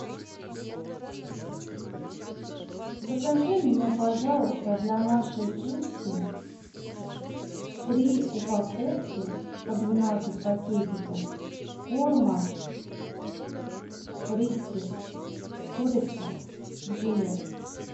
закажи мне пожалуйста для нашей пуси три упаковки по двенадцать пакетиков корма фрискес курица в желе